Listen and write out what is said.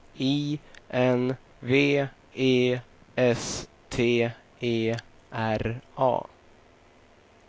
I N V E S T E R A